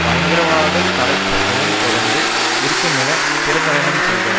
பயங்கரவாதத் தடை சட்டமும் தொடர்ந்தும் இருக்கும் என பிரகடனம் செய்தார்